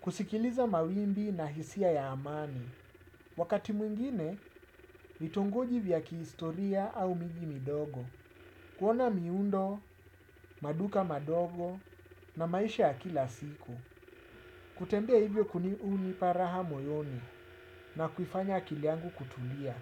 kusikiliza mawimbi na hisia ya amani. Wakati mwingine, vitongoji vya kihistoria au miji midogo, kuona miundo, maduka madogo na maisha ya kila siku. Kutembea hivyo kuni hunipa raha moyoni na kufanya akili yangu kutulia.